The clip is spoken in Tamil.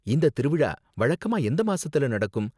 இந்த திருவிழா வழக்கமா எந்த மாசத்துல நடக்கும்?